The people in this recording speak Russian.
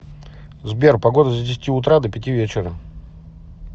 сбер погода с десяти утра до пяти вечера